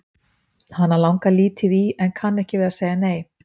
Hana langar lítið í en kann ekki við að segja nei.